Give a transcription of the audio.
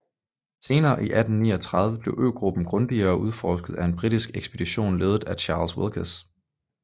Senere i 1839 blev øgruppen grundigere udforsket af en britisk ekspedition ledet af Charles Wilkes